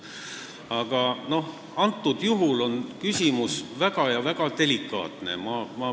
Aga praegusel juhul on küsimus väga-väga delikaatne.